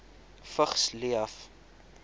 vigs leef